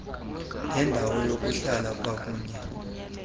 ngendawo yokuhlala kwakunye